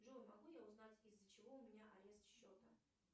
джой могу я узнать из за чего у меня арест счета